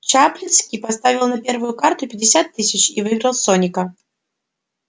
чаплицкий поставил на первую карту пятьдесят тысяч и выиграл соника